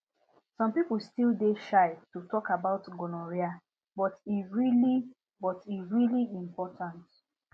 some people still dey shy to talk about gonorrhea but e really but e really important